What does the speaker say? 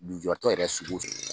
tɔ yɛrɛ sugu